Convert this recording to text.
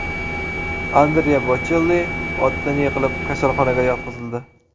Andrea Bochelli otdan yiqilib, kasalxonaga yotqizildi.